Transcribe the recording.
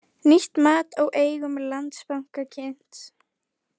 Nýtt mat á eigum Landsbanka kynnt